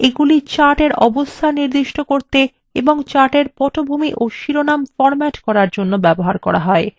এগুলি chartএর অবস্থান নির্দিষ্ট করতে এবং chartএর পটভূমি of শিরোনাম বিন্যস্ত করার জন্য ব্যবহার করা হয়